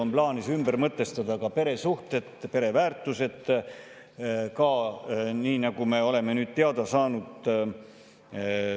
On plaanis ümber mõtestada ka peresuhted ja pereväärtused, nii nagu me oleme nüüd teada saanud.